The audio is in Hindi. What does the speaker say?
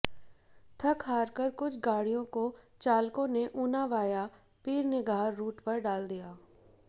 थक हारकर कुछ गाडि़यों को चालकों ने ऊना वाया पीरनिगाह रूट पर डाल दिया